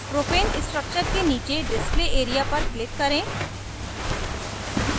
propane structure के नीचे display area पर click करें